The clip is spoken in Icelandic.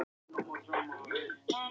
Enga grátandi ekkju.